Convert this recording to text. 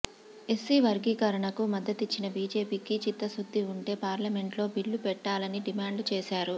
SC వర్గీకరణకు మద్దతిచ్చిన బీజేపీకి చిత్తశుద్ధి ఉంటే పార్లమెంట్లో బిల్లు పెట్టాలని డిమాండ్ చేశారు